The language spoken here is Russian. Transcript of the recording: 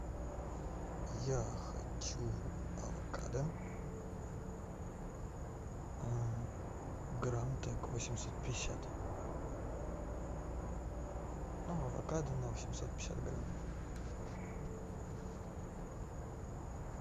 я хочу авокадо грамм так восемьсот пятьдесят ну авокадо на восемьсот пятьдесят грамм